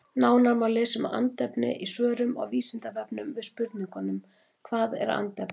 Nánar má lesa um andefni í svörum á Vísindavefnum við spurningunum Hvað er andefni?